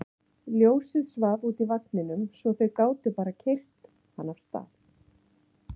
Ljósið svaf úti í vagninum svo þau gátu bara keyrt hann af stað.